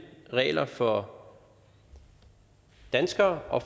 regler for danskere og